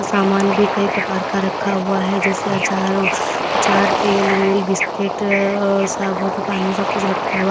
सामान भी कई प्रकार का रखा हुआ है जैसे आचार आचार तेल वेल बिस्किट और साबुन पानी सब कुछ रखा हुआ--